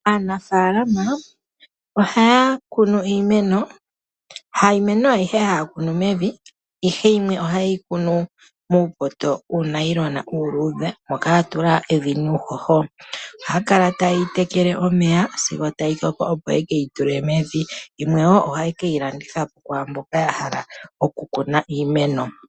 Aanafaalama ohaya kunu iimeno, iimeno ayihe ihayi kunwa mevi yimwe ohayi kunwa muupoto wuunayilona uuludhe moka mwa tulwa evi nuuhoho. Ohayi tekelwa omeya sigo tayi koko opo yi ka tulwe mevi, yimwe ohayi landithwa po kumboka ya hala okukuna iimeno.